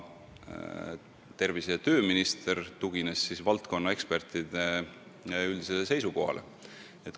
Tervise- ja tööminister tugines valdkonna ekspertide üldisele seisukohale.